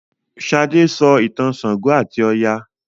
Sade sọ ìtàn ṣàngó ati Oya.